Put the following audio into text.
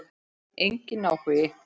Enginn áhugi.